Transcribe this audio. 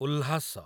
Ulhas